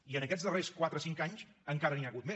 i en aquests darrers quatre cinc anys encara n’hi ha hagut més